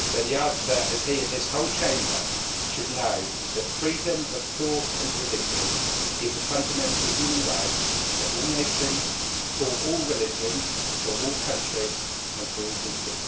The answer as he and this whole Chamber should know is that freedom of thought and religion is a fundamental human right for all nations, for all religions, for all countries and for all people.